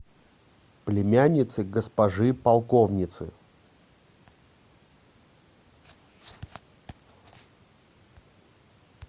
племянница госпожи полковницы